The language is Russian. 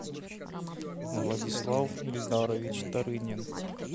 владислав эльдарович тарынин